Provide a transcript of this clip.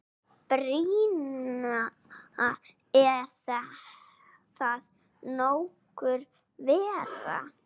Brynja: Er það nokkuð verra?